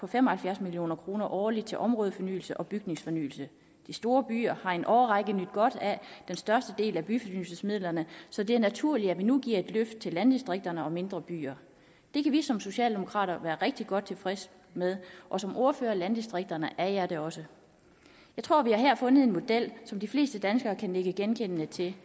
fem og halvfjerds million kroner årligt til områdefornyelse og bygningsfornyelse de store byer har i en årrække nydt godt af den største del af byfornyelsesmidlerne så det er naturligt at vi nu giver et løft til landdistrikterne og mindre byer det kan vi som socialdemokrater være rigtig godt tilfredse med og som ordfører for landdistrikterne er jeg det også jeg tror vi her har fundet en model som de fleste danskere kan nikke anerkendende til